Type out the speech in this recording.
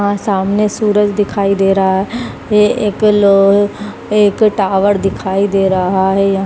वह सामने सूरज दिखाई दे रहा है। ये एक लोहे एक टावर दिखाई दे रहा है यहाँ --